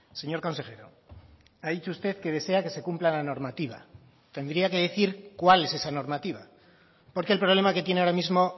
señor consejero ha dicho usted que desea que se cumpla la normativa tendría que decir cuál es esa normativa porque el problema que tiene ahora mismo